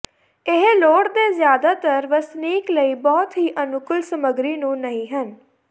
ਇਹ ਲੋੜ ਦੇ ਜ਼ਿਆਦਾਤਰ ਵਸਨੀਕ ਲਈ ਬਹੁਤ ਹੀ ਅਨੁਕੂਲ ਸਮੱਗਰੀ ਨੂੰ ਨਹੀ ਹਨ